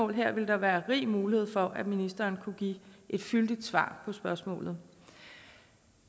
her ville der være rig mulighed for at ministeren kunne give et fyldigt svar på spørgsmålet